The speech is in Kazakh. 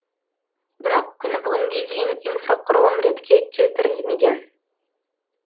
бірақ күні бүгінге дейін инфрақұрылым ретке келтірілмеген